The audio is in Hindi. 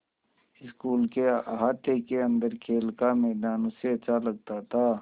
स्कूल के अहाते के अन्दर खेल का मैदान उसे अच्छा लगता था